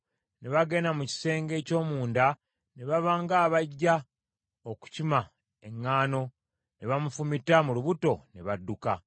Ne bagenda mu kisenge eky’omunda ne baba ng’abajja okukima eŋŋaano, ne bamufumita mu lubuto, ne badduka.